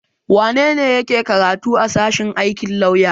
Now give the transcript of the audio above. Wane ne yake karatu a sashen aikin lauya?